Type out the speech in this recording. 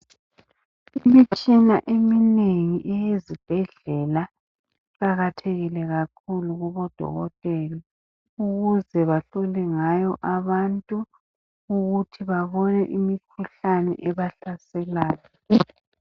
Imitshina eminengi eyezibhedlela iqakathekile kakhulu kubodokotela ukuze bahlole ngayo abantu ukuthi babone imikhuhlane ebahlaselayo.